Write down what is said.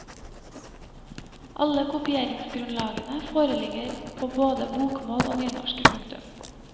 Alle kopieringsgrunnlagene foreligger på både bokmål og nynorsk. punktum